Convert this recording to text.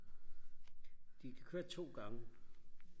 de kan køre to gange